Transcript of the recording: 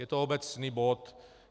Je to obecný bod.